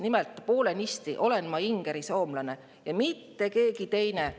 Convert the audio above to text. Nimelt olen ma poolenisti ingerisoomlane ja mitte keegi teine.